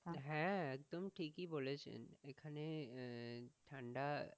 হ্যাঁ একদম ঠিকই বলেছেন এখানে আহ ঠাণ্ডা,